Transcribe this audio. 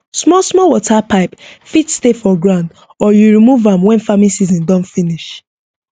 small small water pipe fit stay for ground or you remove am when farming season don finish